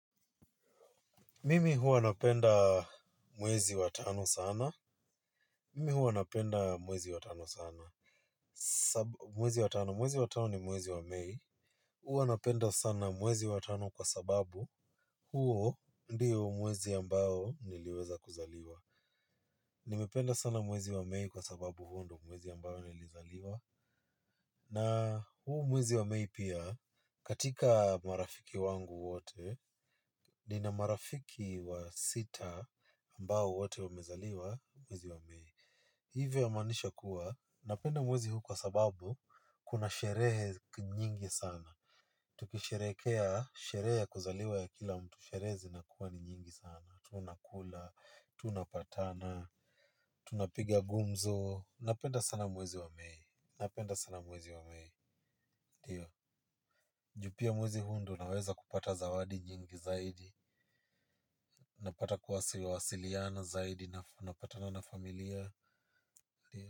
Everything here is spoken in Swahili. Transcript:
Mimi huwa napenda mwezi wa tano sana. Mimi huwa napenda mwezi wa tano sana, mwezi wa tano ni mwezi wa mei. Huwa napenda sana mwezi wa tano kwa sababu huo ndio mwezi ambao niliweza kuzaliwa. Nimependa sana mwezi wa mei kwa sababu huo ndio mwezi ambao nilizaliwa. Na huu mwezi wa mei pia katika marafiki wangu wote nina marafiki wa sita ambao wote wamezaliwa mwezi wa mei. Hivyo ya manisha kuwa napenda mwezi huu kwa sababu kuna sherehe nyingi sana. Tukisherehekea sherehe ya kuzaliwa ya kila mtu sherehe zinakuwa ni nyingi sana. Tunakula, tunapatana, tunapiga gumzo. Napenda sana mwezi wa mei. Napenda sana mwezi wa mei, ndio juu pia mwezi huu ndo naweza kupata zawadi nyingi zaidi napata kuwasiliana zaidi napatana na familia.